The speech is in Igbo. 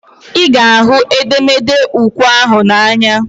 Ị ga ahụ edemede ukwe ahụ n'anya?